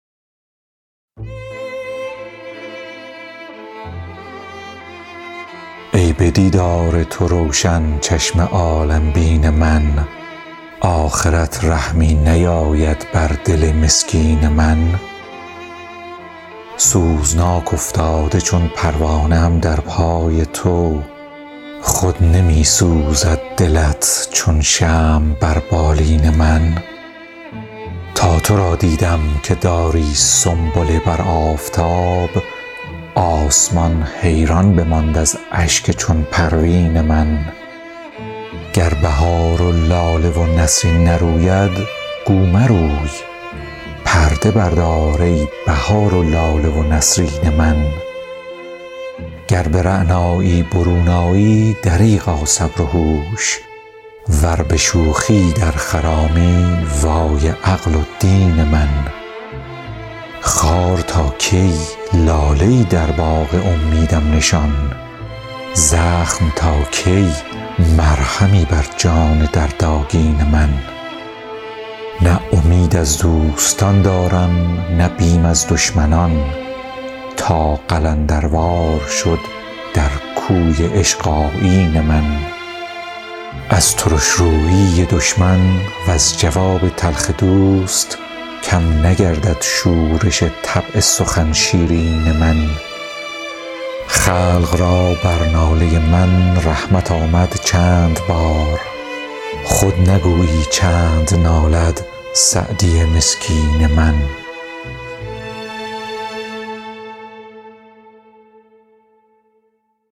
ای به دیدار تو روشن چشم عالم بین من آخرت رحمی نیاید بر دل مسکین من سوزناک افتاده چون پروانه ام در پای تو خود نمی سوزد دلت چون شمع بر بالین من تا تو را دیدم که داری سنبله بر آفتاب آسمان حیران بماند از اشک چون پروین من گر بهار و لاله و نسرین نروید گو مروی پرده بردار ای بهار و لاله و نسرین من گر به رعنایی برون آیی دریغا صبر و هوش ور به شوخی در خرامی وای عقل و دین من خار تا کی لاله ای در باغ امیدم نشان زخم تا کی مرهمی بر جان دردآگین من نه امید از دوستان دارم نه بیم از دشمنان تا قلندروار شد در کوی عشق آیین من از ترش رویی دشمن وز جواب تلخ دوست کم نگردد شورش طبع سخن شیرین من خلق را بر ناله من رحمت آمد چند بار خود نگویی چند نالد سعدی مسکین من